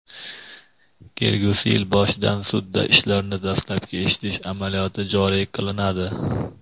kelgusi yil boshidan sudda ishlarni dastlabki eshitish amaliyoti joriy qilinadi.